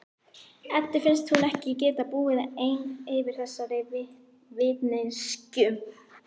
Eddu finnst hún ekki geta búið ein yfir þessari vitneskju.